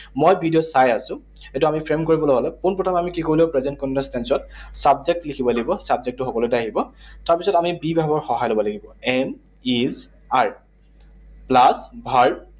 মই ভিডিঅ চাই আছো। এইটো আমি frame কৰিবলৈ হলে পোন প্ৰথমে আমি কি কৰিব লাগিব? Present continuous tense ত subject লিখিব লাগিব। Subject টো সকলোতে আহিব। তাৰপিছত আমি be verb ৰ সহায় লব লাগিব। Am, is, are, plus verb